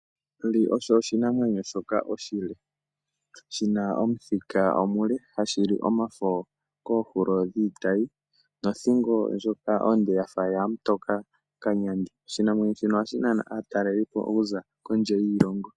Onduli oyo oshinamwenyo shoka oshile, shina omuthika omule. Ohashi li omafo koohulo dhiitayi, nothingo ndjoka onde yafa yamutoka kanyandi. Oshinamwenyo shika ohashi nana aatalelipo okuza kondje yiilongo.